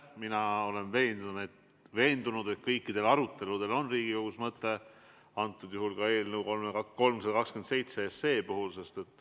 Mina olen veendunud, et kõikidel aruteludel on Riigikogus mõte, ka eelnõul 327.